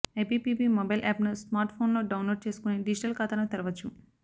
IPPB mobile యాప్ను smart ఫోన్లో download చేసుకుని డిజిటల్ ఖాతాను తెరవవచ్చు